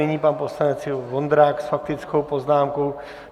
Nyní pan poslanec Ivo Vondrák s faktickou poznámkou.